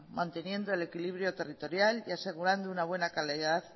manteniendo el equilibrio territorial y asegurando una buena calidad